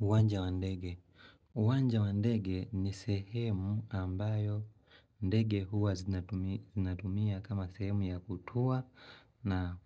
Uwanja wa ndege. Wanja wa ndege ni sehemu ambayo ndege huwa zinatumia kama sehemu ya kutua na